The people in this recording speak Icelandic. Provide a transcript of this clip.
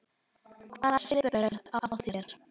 Hvaða svipur er á þér!